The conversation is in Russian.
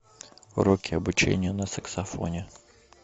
уроки обучение на саксофоне